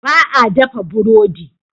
Ba a dafa burodi.